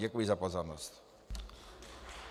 Děkuji za pozornost.